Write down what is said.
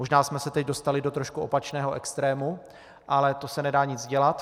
Možná jsme se teď dostali do trošku opačného extrému, ale to se nedá nic dělat.